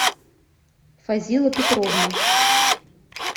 фазила петровна